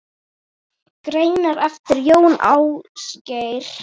Greinar eftir Jón Ásgeir